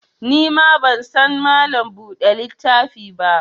Ni ban san Mallam buɗe littafi ba